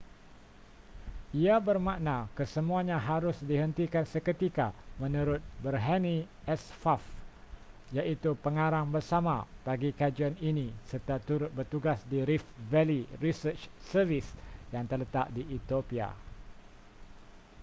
ia bermakna kesemuanya harus dihentikan seketika menurut berhanne asfaw iaitu pengarang bersama bagi kajian ini serta turut bertugas di rift valley research service yang terletak di ethiopia